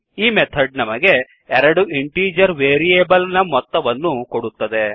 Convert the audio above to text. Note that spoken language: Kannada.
ಈ ಮೆಥಡ್ ನಮಗೆ ಎರಡು ಇಂಟೀಜರ್ ವೇರಿಯೇಬಲ್ ನ ಮೊತ್ತವನ್ನು ಕೊಡುತ್ತದೆ